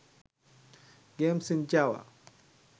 games in java